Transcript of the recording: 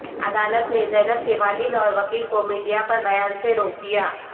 عدالت نے زینب کے والد اور وکیل کومیڈیا پر بیان سے روک دیا